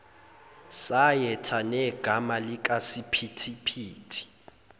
sayetha negama likasiphithiphithi